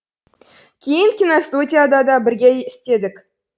кейін киностудияда да бірге істедік